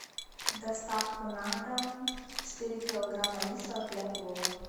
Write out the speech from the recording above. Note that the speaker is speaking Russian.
доставку на дом четыре килограмма риса для плова